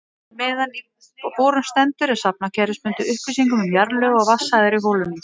Meðan á borun stendur er safnað kerfisbundið upplýsingum um jarðlög og vatnsæðar í holunum.